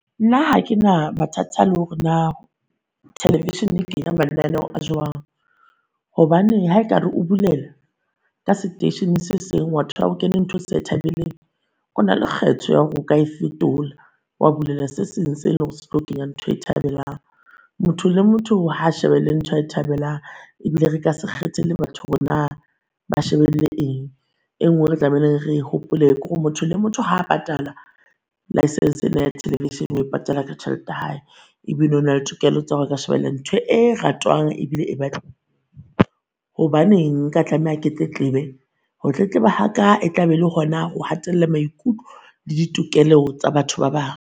Nna ha ke na mathata lore naa television-e e kenya mananeo a jwang, hobane ha e kare o bolulela ka seteisheneng se seng wa tola ho kene ntho e o sa e thabeleng, o na le kgetho ya hore o ka fetola wa bulela se seng se leng hore se tlo kenya ntho e a e thabelang. Motho le motho ha shebelle ntho e a e thabelang ebile re ka se kgethele batho hore naa ba shebelle eng. E nngwe re tlamehileng re hopole kore motho le motho ha patala licence ena ya television-e o e patala tjhelete ya hae. Ebile o na le tokelo tsa hore a ka shebella ntho e ratwang ebile e Hobaneng nka tlameha ke tletlebe? Ho tletleba ha ka e tla be e le hona ho hatella maikutlo le ditokelo tsa batho ba bang.